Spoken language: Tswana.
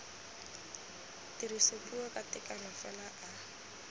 tirisopuo ka tekano fela a